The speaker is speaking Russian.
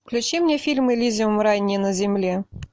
включи мне фильм элизиум рай не на земле